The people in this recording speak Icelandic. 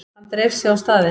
Hann dreif sig á staðinn.